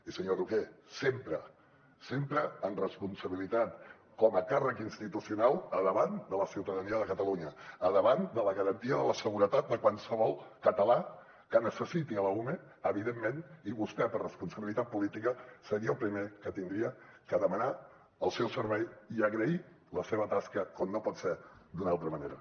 i senyor roquer sempre sempre amb responsabilitat com a càrrec institucional davant de la ciutadania de catalunya davant de la garantia de la seguretat de qualsevol català que necessiti l’ume evidentment i vostè per responsabilitat política seria el primer que hauria de demanar el seu servei i agrair la seva tasca com no pot ser d’una altra manera